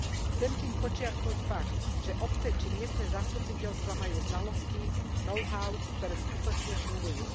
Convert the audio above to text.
Chcem tým podčiarknuť fakt, že obce či miestne zastupiteľstvá majú znalosti, know how, ktoré skutočne fungujú.